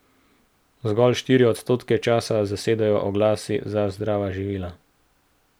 Zgolj štiri odstotke časa zasedajo oglasi za zdrava živila.